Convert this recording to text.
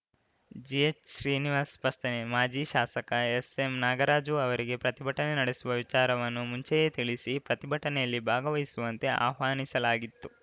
GH Srinivas ಸ್ಪಷ್ಟನೆ ಮಾಜಿ ಶಾಸಕ ಎಸ್‌ಎಂನಾಗರಾಜು ಅವರಿಗೆ ಪ್ರತಿಭಟನೆ ನಡೆಸುವ ವಿಚಾರವನ್ನು ಮುಂಚೆಯೇ ತಿಳಿಸಿ ಪ್ರತಿಭಟನೆಯಲ್ಲಿ ಭಾಗವಹಿಸುವಂತೆ ಆಹ್ವಾನಿಸಲಾಗಿತ್ತು